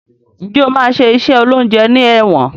Njé o ma ṣe iṣé oloúnjẹ ní èwòn